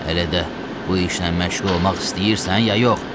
Elə də bu işlə məşğul olmaq istəyirsən, ya yox?